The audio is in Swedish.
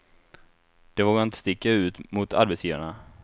De vågar inte sticka ut mot arbetsgivarna.